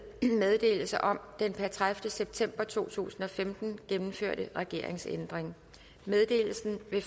meddelelse om den per tredivete september to tusind og femten gennemførte regeringsændring meddelelsen vil